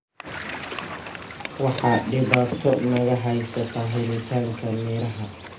Waxa dhibaato naga haysata helitaanka miraha.